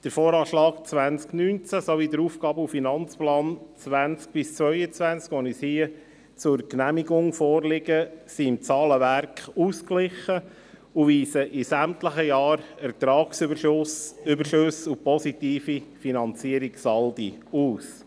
Der VA 2019 sowie der AFP 2020–2022, die uns hier zur Genehmigung vorliegen, sind im Zahlenwerk ausgeglichen und weisen in sämtlichen Jahren Ertragsüberschüsse und positive Finanzierungssaldi aus.